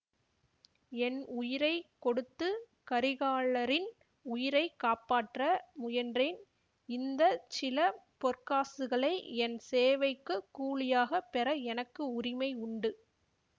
என் உயிரை கொடுத்து கரிகாலரின் உயிரை காப்பாற்ற முயன்றேன் இந்த சில பொற்காசுகளை என் சேவைக்குக் கூலியாகப் பெற எனக்கு உரிமை உண்டு